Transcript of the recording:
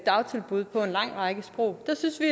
dagtilbud på en lang række sprog der synes vi